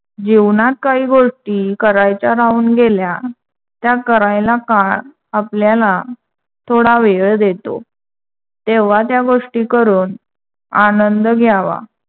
जीवनात काही गोष्टी करायच्या राहून गेल्या त्या करायला काळ आपल्याला थोडा वेळ देतो. तेव्हा त्या गोष्टी करून आनंद घ्यावा.